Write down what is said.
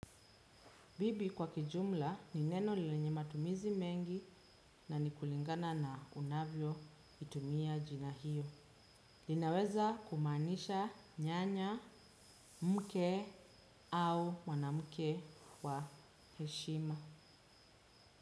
Bibi kwa kijumla ni neno lilenye matumizi mengi na ni kulingana na unavyo itumia jina hiyo. Linaweza kumaanisha nyanya, mke au mwanamke wa heshima.